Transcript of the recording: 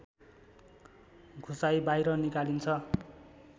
घुसाइ बाहिर निकालिन्छ